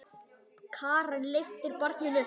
Karen lyftir barninu upp.